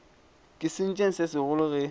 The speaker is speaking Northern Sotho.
ke sentšeng se segolo ge